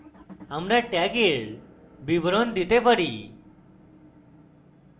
আমরা tag in বিবরণ দিতে পারি